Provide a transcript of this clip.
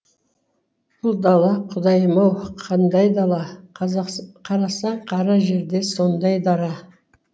бұл дала құдайым ау қандай дала қарасаң қара жерде сондай дара